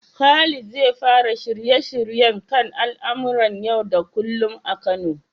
Khalid zai fara shirye-shiryen h kan al'amuran yau da kullum a Kano.